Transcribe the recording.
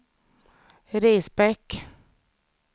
Risbäck